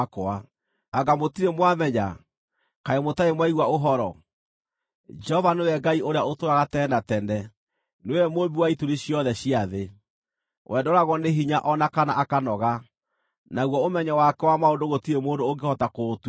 Anga mũtirĩ mwamenya? Kaĩ mũtarĩ mwaigua ũhoro? Jehova nĩwe Ngai ũrĩa ũtũũraga tene na tene, nĩwe Mũmbi wa ituri ciothe cia thĩ. We ndooragwo nĩ hinya o na kana akanoga, naguo ũmenyo wake wa maũndũ gũtirĩ mũndũ ũngĩhota kũũtuĩria.